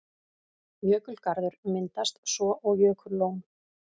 Jökulgarður myndast svo og jökullón.